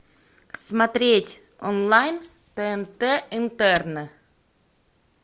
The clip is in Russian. смотреть онлайн тнт интерны